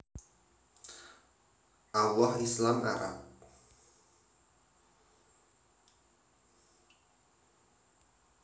Allah Islam Arab